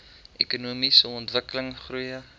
ekonomiese ontwikkeling goeie